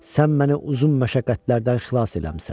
Sən məni uzun məşəqqətlərdən xilas eləmisən.